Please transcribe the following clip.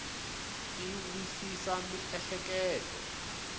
ti wisisa miehleketo